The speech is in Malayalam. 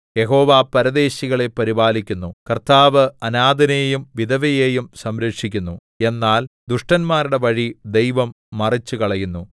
യഹോവ പരദേശികളെ പരിപാലിക്കുന്നു കർത്താവ് അനാഥനെയും വിധവയെയും സംരക്ഷിക്കുന്നു എന്നാൽ ദുഷ്ടന്മാരുടെ വഴി ദൈവം മറിച്ചുകളയുന്നു